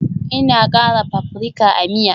Ina kara paprika a miya